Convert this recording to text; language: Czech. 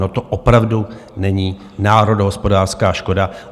No to opravdu není národohospodářská škoda.